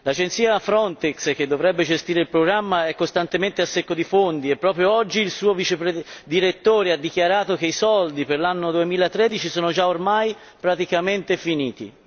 L'agenzia Frontex che dovrebbe gestire il programma è costantemente a secco di fondi e proprio oggi il suo direttore ha dichiarato che i soldi per l'anno 2013 sono già armai praticamente finiti.